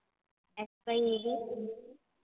xyz